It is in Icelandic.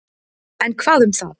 En hvað um það.